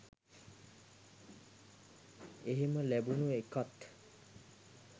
එහෙම ලැබුණු එකත්